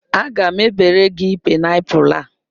Aga m ebere gị paịnapụlụ a.